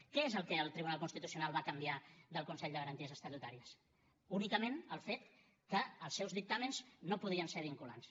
què és el que el tribunal constitucional va canviar del consell de garanties estatutàries únicament el fet que els seus dictàmens no podien ser vinculants